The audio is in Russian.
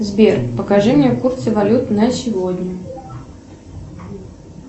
сбер покажи мне курсы валют на сегодня